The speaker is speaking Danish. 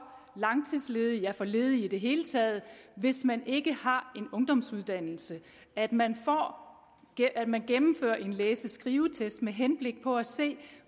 langtidsledige ja for ledige i det hele taget hvis man ikke har en ungdomsuddannelse at man at man gennemfører en læse og skrivetest med henblik på at se